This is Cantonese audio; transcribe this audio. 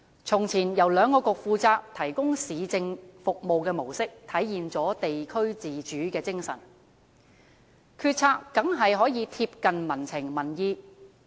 從前由兩局負責提供市政服務的模式，體現了地區自主的精神，決策當然可以貼近民情民意。